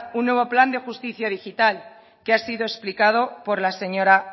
un nuevo plan de justicia digital que ha sido explicado por la señora